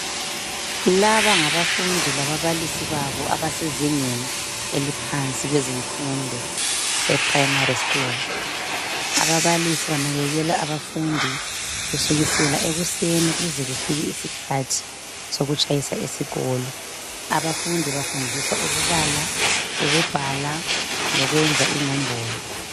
Laba ngabafundi lababalisi babo abasezingeni eliphansi kwezemfundo ePrimary school. Ababalisi banakekela abafundi kusukela ekuseni kuze kufike isikhathi sokutshayisa esikolo. Abafundi bafundiswa ukubala, ukubhala lokwenza inombolo.